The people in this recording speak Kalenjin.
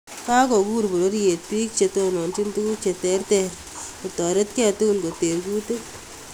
Kokagur bororyeet biik chetononchin tuguk cheterter kotaretikei tukul koteer kuutik